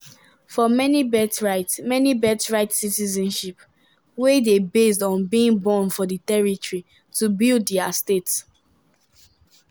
"for many birthright many birthright citizenship wey dey based on being born for di territory to build dia state.